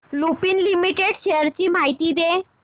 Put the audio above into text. Lupin limited shares ची माहिती दे